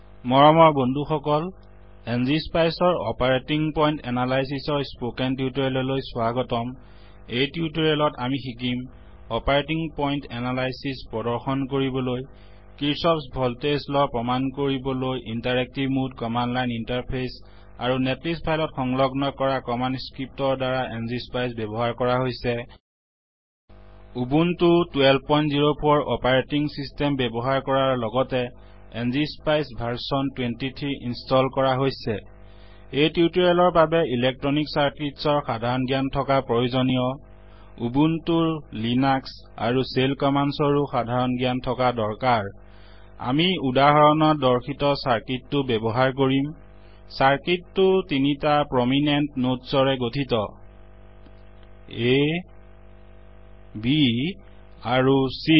মৰমৰ বন্ধুসকল ংস্পাইচ ৰ অপাৰেটিং পইণ্ট analysisঅপাৰেটিং পইন্ত এনালাইচিছৰ স্পোকেন tutorialস্পকেন টিউটৰিয়েললৈ স্বাগতম এই টিউটৰিয়েলত আমি শিকিম operating point analysis operating point analysis প্ৰদৰ্শন কৰিবলৈ কিৰ্চফ s ভল্টেজ লাৱ প্ৰমাণ কৰিবলৈ interactive mode command line interface আৰু নেটলিষ্ট ফাইল ত সংলগ্ন কৰা commandscriptৰ দ্বাৰা ংস্পাইচ ব্যৱ্হাৰ কৰা হৈছে Ubuntuউবুন্তো1204 অপাৰেটিং systemঅপাৰেটিং ছিচটেম ব্যৱ্হাৰ কৰাৰ লগতে ংস্পাইচ ভাৰ্চন 23 installইনস্তল কৰা হৈছে এই tutorialটিউটৰিয়েলৰ বাবে ইলেকট্ৰনিক circuitsইলেকত্ৰনিক চাৰ্কিতচৰ সাধাৰণ জ্ঞানথকা প্ৰয়োজনীয় Ubuntuউবুন্তো Linuxলিনাস্কআৰুshellcommandsচেল কমান্দচৰ ও সাধাৰণ জ্ঞান থকা দৰকাৰ আমি উদাহৰণত দৰ্শিত circuitচাৰ্কিত টো ব্যৱ্হাৰ কৰিম circuitচাৰ্কিত টো তিনিটা প্ৰমিনেণ্ট nodesপ্ৰমিনেন্ত নদচ ৰে গঠিত আ b আৰু চি